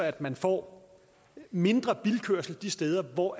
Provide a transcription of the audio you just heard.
at man får mindre bilkørsel de steder hvor